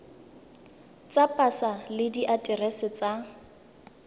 tsa pasa le diaterese tsa